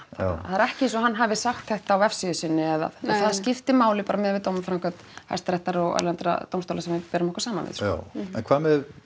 það er ekki eins og hann hafi sagt þetta á vefsíðu sinni eða það skiptir máli bara miðað við dómaframkvæmd hæstaréttar og erlendra dómstóla sem við berum okkur saman við já en hvað með